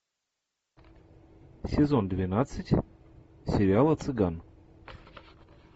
сезон двенадцать сериала цыган